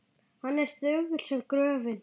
Hann er þögull sem gröfin.